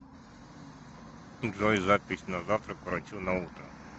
джой запись на завтра к врачу на утро